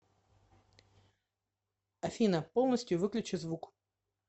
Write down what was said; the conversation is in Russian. афина полностью выключи звук